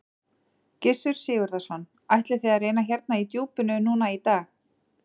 Gissur Sigurðsson: Ætlið þið að reyna hérna í djúpinu núna í dag?